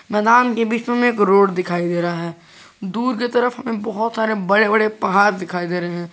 मैदान के बीच में एक रोड दिखाई दे रहा है दूर की तरफ बहोत सारे बड़े बड़े पहाड़ दिखाई दे रहे हैं।